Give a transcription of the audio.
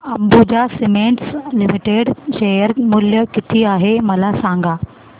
Ambuja cements limited share मूल्य किती आहे मला सांगा